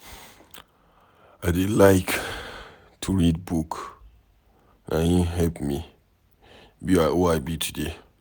I dey like to read book. Na im help me be who I be today.